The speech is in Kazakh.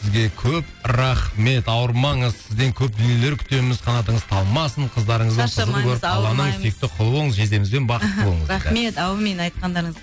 сізге көп рахмет ауырмаңыз сізден көп дүниелер күтеміз қанатыңыз талмасын жездемізбен бақытты болыңыз рахмет әумин айтқандарыңыз